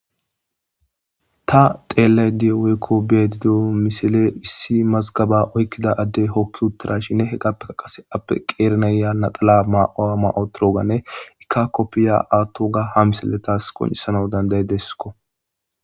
Ta beyashshe dizayissi issi mazgaba oykida adey kopiya woththidayissa ha missiley qoncisidesikko